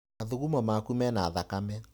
Mathugumo maku mena thakame.